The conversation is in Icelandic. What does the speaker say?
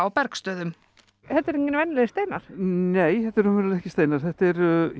Bergsstöðum þetta eru engir venjulegir steinar nei þetta eru raunverulega ekki steinar þetta er